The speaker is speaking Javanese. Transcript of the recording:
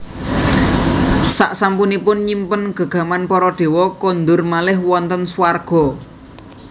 Saksampunipun nyimpen gegaman para dewa kondur malih wonten suwarga